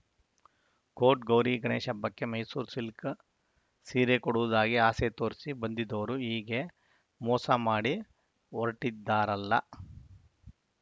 coat Gauri Ganesha ಹಬ್ಬಕ್ಕೆ Mysuru silk ಸೀರೆ ಕೊಡುವುದಾಗಿ ಆಸೆ ತೋರಿಸಿ ಬಂದಿದ್ದವರು ಹೀಗೆ ಮೋಸ ಮಾಡಿ ಹೊರಟಿದ್ದಾರಲ್ಲ